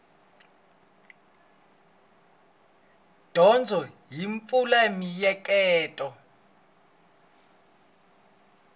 dyondzo yi pfula mieheketo